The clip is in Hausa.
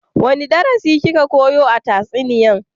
Wani darasi ki ka koya a tatsuniyan?